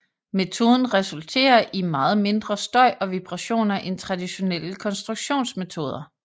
Metoden resulterer i meget mindre støj og vibrationer end traditionelle konstruktionsmetoder